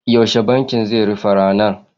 Yaushe bankin zai rufe ranar?